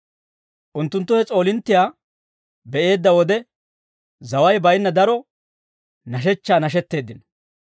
Unttunttu he s'oolinttiyaa be'eedda wode, zaway baynna daro nashechchaa nashetteeddino.